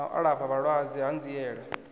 na u alafha vhalwadze hanziela